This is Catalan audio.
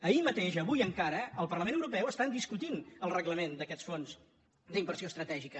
ahir mateix avui encara al parlament europeu estan discutint el reglament d’aquests fons d’inversió estratègica